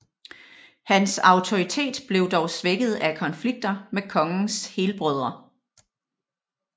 Hans autoritet blev dog svækket af konflikter med kongens helbrødre